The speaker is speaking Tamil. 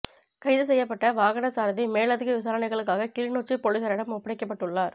கைது செய்யப்பட்ட வாகன சாரதி மேலதிக விசாரணைகளுக்காக கிளிநொச்சி பொலிஸாரிடம் ஒப்படைக்கப்பட்டுள்ள்ளார்